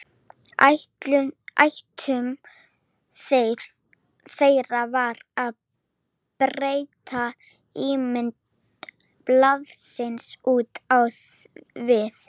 Ætlun þeirra var að breyta ímynd blaðsins út á við.